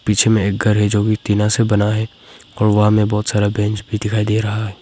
पीछे में एक घर है जो कि टीना से बना है और वहां में बहुत सारा बेंच भी दिखाई दे रहा है।